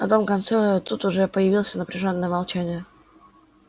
на том конце тут уже появился напряжённое молчание